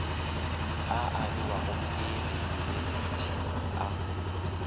a abiwago ke diyunibesithi a